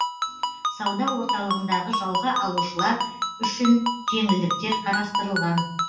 сауда орталығындағы жалға алушылар үшін жеңілдіктер қарастырылған